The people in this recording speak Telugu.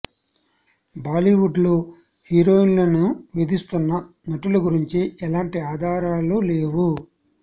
బాలీవుడ్ లో హీరోయిన్లని వేధిస్తున్న నటుల గురించి ఎలాంటి ఆధారాలు లేవు